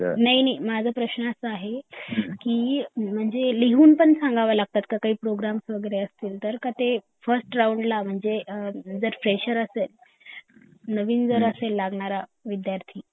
नाही नाही माझा प्रश्न असा आहे की लिहुंन पण सांगावं लागतं का जर का काही प्रोग्राम वगैरे असतील तर का ते फिरस्त राऊंड ला म्हणजे अ जर फ्रेशर असेल नवीन जर असेल लागणार विद्यार्थी